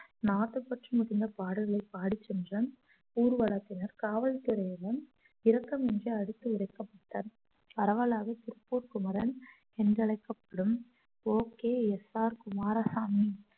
நாட்டுப்பற்று மிகுந்த பாடல்களை பாடிச்சென்ற ஊர்வலத்தினர் காவல்துறையினரும் இரக்கமின்றி அடித்து ஒடுக்கப்பட்டார் பரவலாக திருப்பூர் குமரன் என்றழைக்கப்படும் O K S R Kumaraswamy